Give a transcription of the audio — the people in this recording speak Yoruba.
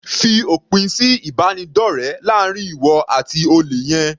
Fi òpin sí ìbánidọ́rẹ láàrin ìwọ àti olè yẹn.